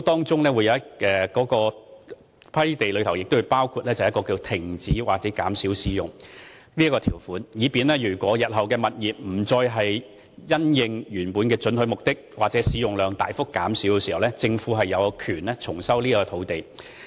在批地時也會包含停止或減少使用的條款，以便日後物業一旦不再因應原本的准許目的或使用量大幅減少時，政府亦有權重收土地。